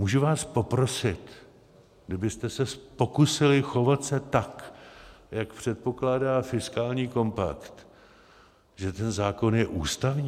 Můžu vás poprosit, kdybyste se pokusili chovat se tak, jak předpokládá fiskální kompakt, že ten zákon je ústavní?